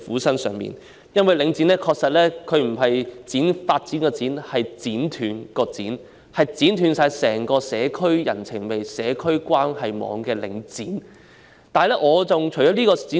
其實，領展的寫法不是"發展"的"展"，而是"剪斷"的"剪"，因其剪斷了整個社區的人情味和關係網，所以應寫作"領剪"。